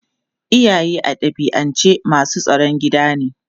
Iyaye a dabi'ance masu tsaron gida ne.